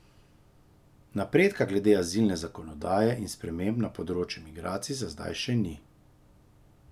Napredka glede azilne zakonodaje in sprememb na področju migracij za zdaj še ni.